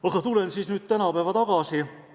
Aga tulen nüüd tänapäeva tagasi.